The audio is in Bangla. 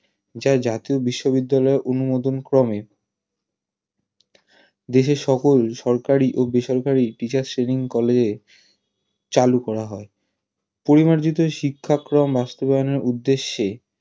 যা জাতীয় বিশ্ববিদ্যালয়ের অনুমোদনক্রমে দেশের সকল সরকারী ও বেসরকারী Teachers training college -এ চালু করা হয় পরিমার্জিত বাস্তবায়নের উদ্দেশ্যে